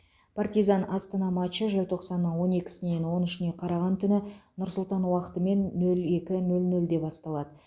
партизан астана матчы желтоқсанның он екісінен он үшіне қараған түні нұр сұлтан уақытымен нөл екі нөл нөлде басталады